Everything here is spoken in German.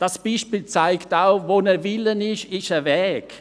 Dieses Beispiel zeigt auch: Wo ein Wille ist, ist ein Weg.